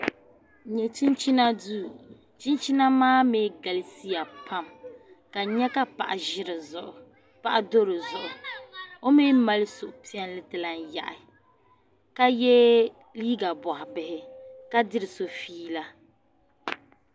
N nyɛ chinchima duu chinchina maa mii galisiya pam ka n nyɛ ka paɣa do dizuɣu o mii mali suhupiɛlli ti lahi yaɣi ka yɛ liiga boɣa bihi ka diri so fiila